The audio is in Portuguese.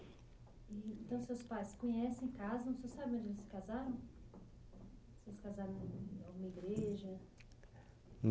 Então seus pais, se conhecem, casam. Vocês sabem onde eles se casaram? Se eles casaram numa igreja